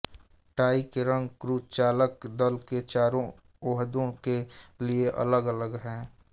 tie के रंग crew चालक दल के चारों ओहदों के लिए अलग अलग हैं